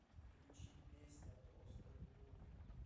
включи песня просто любовь